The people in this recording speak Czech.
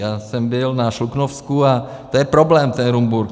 Já jsem byl na Šluknovsku a to je problém, ten Rumburk.